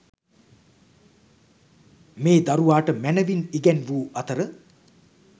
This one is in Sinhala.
මේ දරුවාට මැනවින් ඉගැන්වූ අතර,